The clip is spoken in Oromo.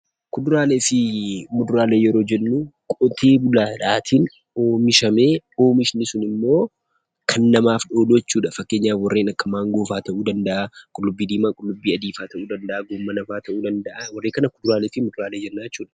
Kuduraalee fi muduraalee yoo jennu qotee bulaaf oomishamee namootaf immoo kan ooludha. Fakkeenyaaf kanneen akka maangoo, qullubbii adii, qullubbii diima, raafuu fi kan kana fakkaatan kuduraalee fi muduraalee jechuu dandeenya.